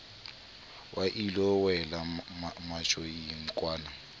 wa ilo wela matjoing kwana